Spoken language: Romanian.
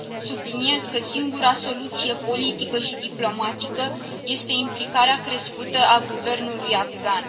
Subliniez că singura soluție politică și diplomatică este implicarea crescută a guvernului afgan.